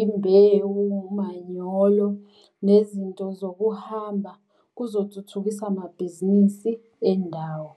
imbewu, umanyolo, nezinto zokuhamba kuzothuthukisa amabhizinisi endawo.